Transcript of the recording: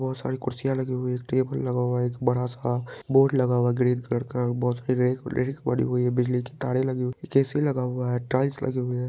बहुत सारी कुर्सियाँ लगी हुई हैं एक टेबल लगा हुआ है एक बड़ा सा बोर्ड लगा हुआ है ग्रीन कलर का बहुत सारी रेख रेख पड़ी हुई है बिजली की तारे लगी हुई हैं पीछे ए.सी. लगा हुआ है टाइल्स लगा हुआ है।